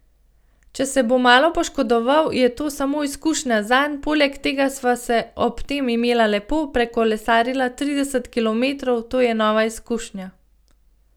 Če se bo malo poškodoval, je to samo izkušnja zanj, poleg tega sva se ob tem imela lepo, prekolesarila trideset kilometrov, to je nova izkušnja.